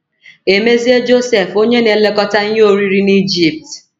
E mezie Josef onye na - elekọta ihe oriri n’Ijipt.